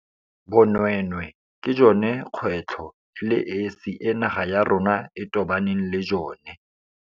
Bonweenwee ke jone kgwe tlho e le esi e naga ya rona e tobaneng le jone.